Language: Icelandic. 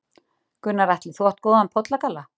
Gunnar Atli: Þú átt góðan pollagalla?